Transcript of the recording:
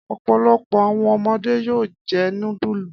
Ọ̀pọ̀lọpọ̀ àwọn ọmọdé yóò jẹ núdúlù.